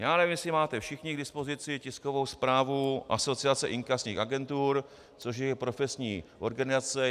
Já nevím, jestli máte všichni k dispozici tiskovou zprávu Asociace inkasních agentur, což je profesní organizace.